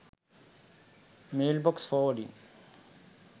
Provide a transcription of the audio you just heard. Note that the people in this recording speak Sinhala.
mailbox forwarding